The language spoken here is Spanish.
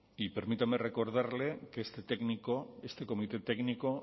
y permítame recordarle que este técnico este comité técnico